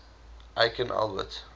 aikin albert